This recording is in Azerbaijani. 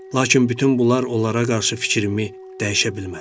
Lakin bütün bunlar onlara qarşı fikrimi dəyişə bilmədi.